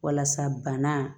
Walasa bana